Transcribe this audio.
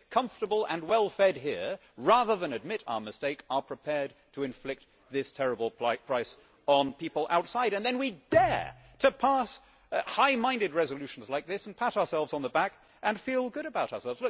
We, comfortable and well fed here, rather than admit our mistake are prepared to inflict this terrible price on people outside, and then we dare to pass high minded resolutions like this and pat ourselves on the back and feel good about ourselves.